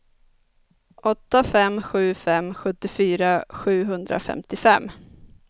åtta fem sju fem sjuttiofyra sjuhundrafemtiofem